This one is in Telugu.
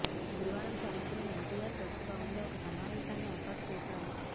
గురువారం సాయంత్రం ఎన్టీఆర్ ట్రస్ట్ భవన్ లో ఒక సమావేశాన్ని ఏర్పాటు చేశారు